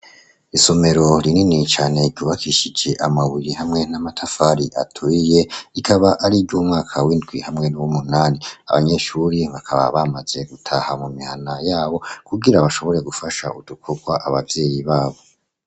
isomero rinini cane kubakishice amabuye hamwe n'amatafari aturiye rikaba ari ry'umwaka w'indwi hamwe nabo muwu munani abanyeshuri bakaba bamaze gutaha mu mihana yabo kubwira bashobore gufasha udukorwa abavyeyi babo.